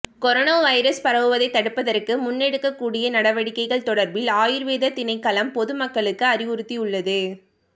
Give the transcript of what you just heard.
corona virus பரவுவதைத் தடுப்பதற்கு முன்னெடுக்கக்கூடிய நடவடிக்கைகள் தொடர்பில் ஆயுர்வேத திணைக்களம் பொதுமக்களுக்கு அறிவுறுத்தியுள்ளது